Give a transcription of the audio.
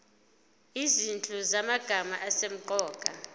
izinhlu zamagama asemqoka